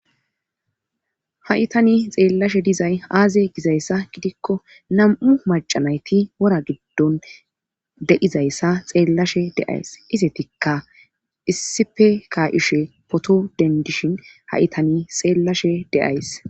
ha7itani xeellashe dizay aaze gizayssa gidikko nam7u macanayti wora giddon deizayssa xeellashe deays isetikka issife kayushe potodendishin ha7itani xeellashe deays